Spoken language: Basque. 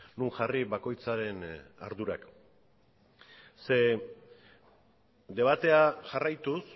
non jarri bakoitzaren ardurak zeren debatea jarraituz